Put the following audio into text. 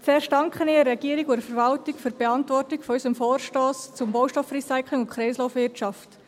Zuerst danke ich der Regierung und der Verwaltung für die Beantwortung unseres Vorstosses zum Baustoffrecycling und der Kreislaufwirtschaft.